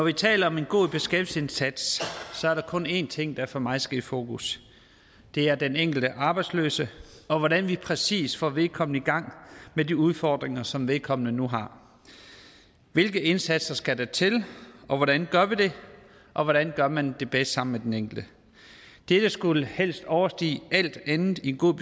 vi taler om en god beskæftigelsesindsats er der kun én ting der for mig skal i fokus det er den enkelte arbejdsløse og hvordan vi præcis får vedkommende i gang med de udfordringer som vedkommende nu har hvilke indsatser skal der til og hvordan gør vi det og hvordan gør man det bedst sammen med den enkelte dette skulle helst overstige alt andet i en god